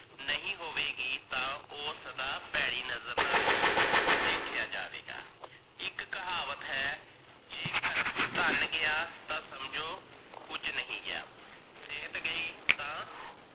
ਨਹੀ ਹੋਵੇਗੀ, ਤਾਂ ਓਹ ਸਦਾ ਭੇੜੀ ਨਜਰ ਨਾਲ ਹੀ ਦੇਖਿਆ ਜਾਵੇਗਾ। ਇੱਕ ਕਹਾਵਤ ਹੈ, ਜੇਕਰ ਧਨ ਗਿਆ ਤਾਂ ਸਮਜੋ ਕੁਝ ਨੀ ਗਿਆ, ਸਿਹਤ ਗਈ ਤਾਂ